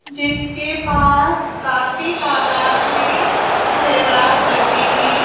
जिसके पास काफी तादाद में ज़ेवरात रखे हैं।